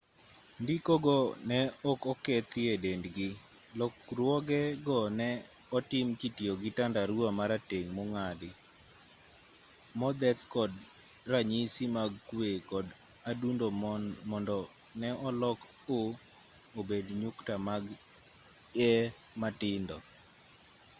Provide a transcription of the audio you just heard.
ndiko go ne ok okethi e dendgi lokruoge go ne otim kitiyo gi tandarua marateng' mong'adi modheth kod ranyisi mag kwe kod adundo mondo ne olok o obed nyukta mag e matindo